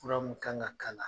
Furu mun kan ka k'a la